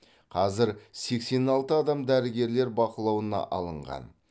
қазір сексен алты адам дәрігерлар бақылауына алынған